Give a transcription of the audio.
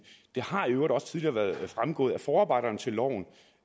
har i øvrigt også tidligere været fremgået af forarbejderne til loven